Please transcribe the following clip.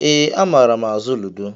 Ee, amaara azụ ludo.